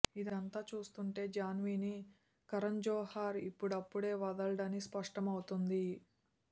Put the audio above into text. ఇదంతా చూస్తుంటే జాన్వీని కరణ్జోహార్ ఇప్పుడప్పుడే వదలడని స్పష్టం అవుతోంది